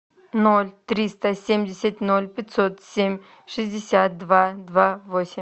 ноль триста семьдесят ноль пятьсот семь шестьдесят два два восемь